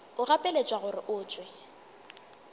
o gapeletšwa gore o tšwe